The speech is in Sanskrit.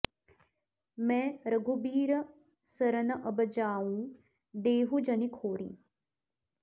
मै रघुबीर सरन अब जाउँ देहु जनि खोरि